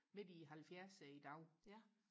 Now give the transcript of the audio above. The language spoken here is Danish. midt i halvfjerserne i dag